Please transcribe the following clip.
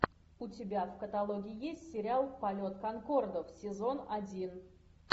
у тебя в каталоге есть сериал полет конкордов сезон один